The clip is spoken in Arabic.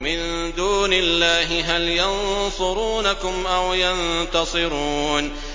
مِن دُونِ اللَّهِ هَلْ يَنصُرُونَكُمْ أَوْ يَنتَصِرُونَ